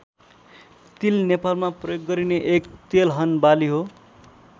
तिल नेपालमा प्रयोग गरिने एक तेलहन बाली हो।